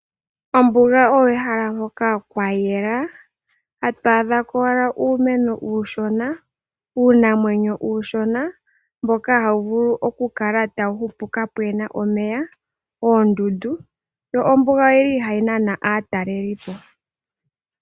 Ombuga oyo ehala hoka kwa yela, tatu adha ko owala uumeno uushona, uunamwenyo uushona mboka hawu vulu okukala tawu hupu kaapuna omeya, oodundu. Ombuga oyili hayi nana aatalelipo.